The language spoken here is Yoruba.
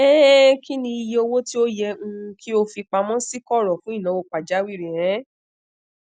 um kinni iye owo ti o yẹ um ki o fipamọ si koro fun inawo pajawiri um